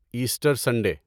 Easter Sunday